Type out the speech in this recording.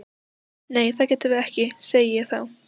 Nei það getum við ekki, segi ég þá.